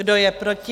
Kdo je proti?